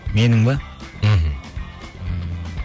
менің бе мхм